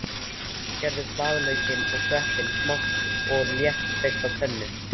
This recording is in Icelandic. Skerðu blaðlaukinn og sveppina smátt og léttsteiktu á pönnu.